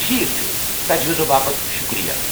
ٹھیكھ چُھ تجویزو باپت شُکریہ۔